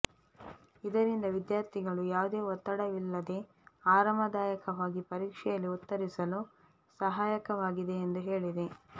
ಇದರಿಂದ ವಿದ್ಯಾರ್ಥಿಗಳು ಯಾವುದೇ ಒತ್ತಡವಿಲ್ಲದೇ ಆರಾಮದಾಯಕವಾಗಿ ಪರೀಕ್ಷೆಯಲ್ಲಿ ಉತ್ತರಿಸಲು ಸಹಾಯಕವಾಗಿದೆ ಎಂದು ಹೇಳಿದೆ